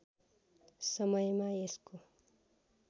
समयमा यसको